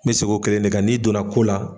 N bi seg'o kelen de kan n'i donna ko la